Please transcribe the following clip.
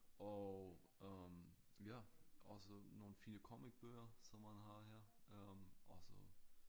Og øh ja også nogle fine comic bøger som man har her øh også